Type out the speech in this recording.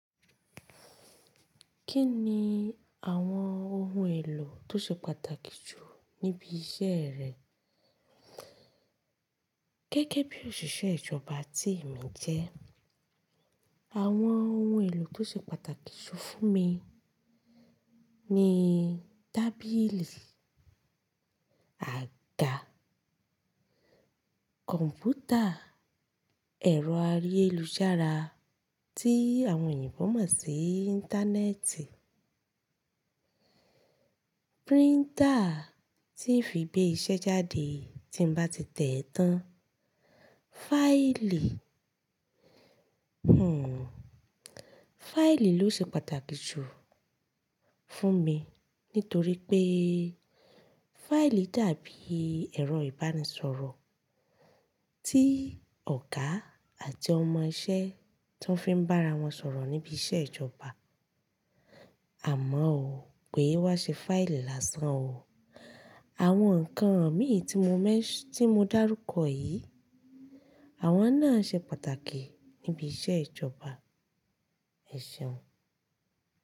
Kí ni àwọn ohun èlò tó ṣe pàtàkì jù níbi iṣẹ́ rẹ? Gẹ́gẹ́ bí òṣìṣẹ́ ìjọba tí èmi jẹ́, àwọn ohun èlò tó ṣe pàtàkì jù fún mi ni tábìlì, àga, kọ̀ǹpútà, ẹ̀rọ ayelujara tí àwọn oyinbo mọ̀ sí íńtánẹ́ẹ̀tì, píríńtà tí ń fi gbé iṣẹ́ jáde tí mba ti tẹ́ ẹ̀ tán, fáìlì. Fáìlì ló ṣe pàtàkì jù fún mi nítorí pé fáìlì dàbí ẹ̀rọ ìbánisọ̀rọ̀ tí ọ̀gá àti ọmọ iṣẹ́ tó fi ń bá ara wọn sọ̀rọ̀ níbi iṣẹ́ ìjọba. Àmọ́ o, ké wa ṣe fáìlì lásán o. Àwọn ǹkan mìí tí mo men ti mo dárúkọ yì. Àwọn náà ṣe pàtàkì níbi iṣẹ́ ìjọba. Ẹ̀ṣeun.